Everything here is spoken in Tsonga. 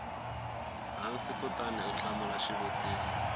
hansi kutani u hlamula xivutiso